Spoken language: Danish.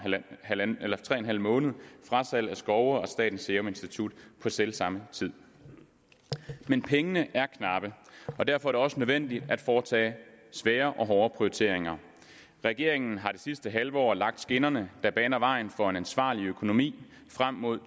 tre en halv måned frasalg af skove og statens serum institut på selv samme tid men pengene er knappe og derfor er det også nødvendigt at foretage svære og hårde prioriteringer regeringen har det sidste halve år lagt skinnerne der baner vejen for en ansvarlig økonomi frem mod